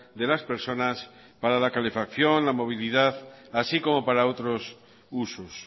de las personas para la calefacción la movilidad así como para otros usos